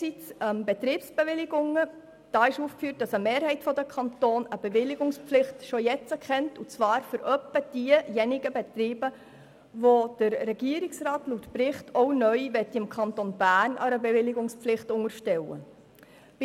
Eine Mehrheit der Kantone kennt bereits jetzt eine Bewilligungspflicht, und zwar ungefähr für diejenigen Betriebe, welche der Regierungsrat gemäss Bericht im Kanton Bern neu einer Bewilligungspflicht unterstellen möchte.